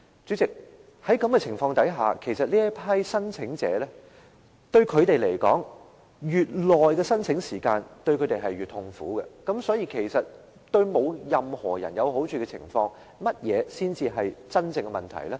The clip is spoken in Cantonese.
主席，在這種情況下，其實對這些申請者來說，申請時間越長，便越痛苦，所以在對任何人也沒有好處的情況下，甚麼才是真正的問題呢？